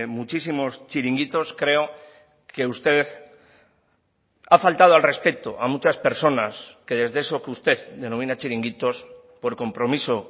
muchísimos chiringuitos creo que usted ha faltado al respeto a muchas personas que desde eso que usted denomina chiringuitos por compromiso